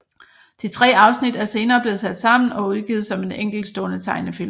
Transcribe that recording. De tre afsnit er senere blevet sat sammen og udgivet som en enkeltstående tegnefilm